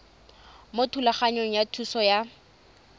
mo thulaganyong ya thuso y